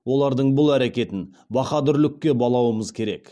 олардың бұл әрекетін баһадүрлікке балауымыз керек